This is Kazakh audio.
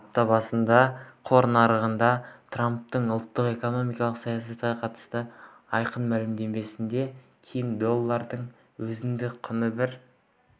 апта басында қор нарығында трамптың ұлттық экономикалық саясатқа қатысты айтқан мәлімдемесінен кейін доллардың өзіндік құны бір